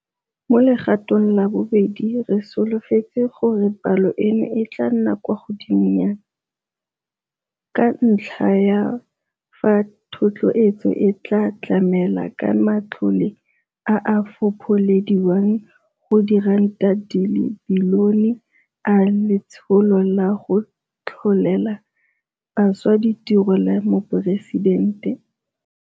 Mo legatong la bobedi re solofetse gore palo eno e tla nna kwa godingwana, ka ntlha ya fa thotloetso e tla tlamela ka matlole a a fopholediwang go R1 bilione a Letsholo la go Tlholela Bašwa Ditiro la Moporesidente.